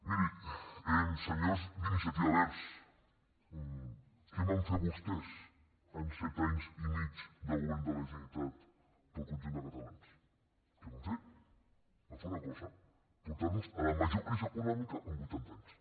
mirin senyors d’iniciativa verds què van fer vostès en set anys i mig de govern de la generalitat pel conjunt de catalans què van fer van fer una cosa portar nos a la major crisi econòmica en vuitanta anys